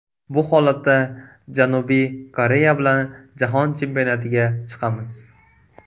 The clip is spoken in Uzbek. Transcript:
Bu holatda Janubiy Koreya bilan jahon chempionatiga chiqamiz.